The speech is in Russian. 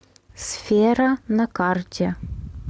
сфера на карте